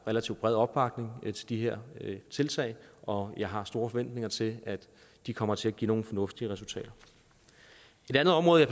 relativt bred opbakning til de her tiltag og jeg har store forventninger til at de kommer til at give nogle fornuftige resultater et andet område